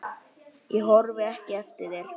Ég horfi ekki eftir þér.